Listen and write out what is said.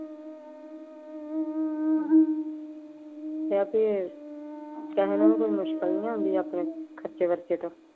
ਆਪਣੇ ਖਰਚੇ ਵਰਚੇ ਤੇ।